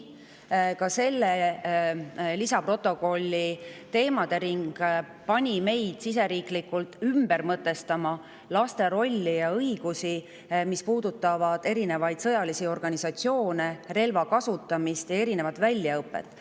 Aga selles olevate teemade ring pani meid siseriiklikult ümber mõtestama laste rolli ja õigusi, mis puudutavad erinevaid sõjalisi organisatsioone, relva kasutamist ja erinevat väljaõpet.